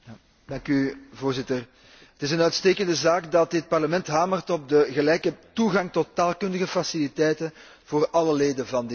Voorzitter, het is een uitstekende zaak dat dit Parlement hamert op de gelijke toegang tot taalkundige faciliteiten voor alle leden van dit Parlement.